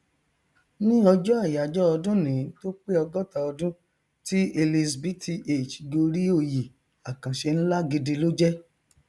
ní ọjọ àyájọ ọdúnìí tó pé ọgọta ọdún tí elizabth gorí oyè àkànṣe nlá gidi ló jẹ